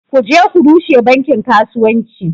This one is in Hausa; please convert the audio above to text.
Ku je ku rushe bankin kasuwanci